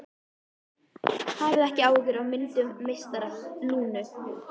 Hafið ekki áhyggjur af myndum meistara Lúnu.